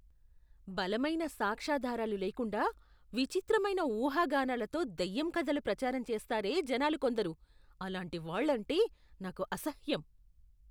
బలమైన సాక్ష్యాధారాలు లేకుండా విచిత్రమైన ఊహాగానాలతో దయ్యం కథలు ప్రచారం చేస్తారే జనాలు కొందరు. అలాంటివాళ్ళంటే నాకు అసహ్యం.